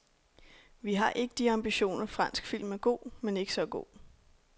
Vi har ikke de ambitioner, fransk film er god, men ikke så god.